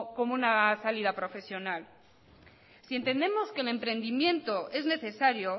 como una salida profesional si entendemos que el emprendimiento es necesario